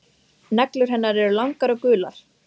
Er þá líklegt að ákæruvaldið muni áfrýja?